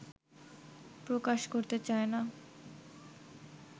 প্রকাশ করতে চায় না